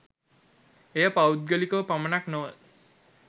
එය පෞද්ගලිකව පමණක් නොව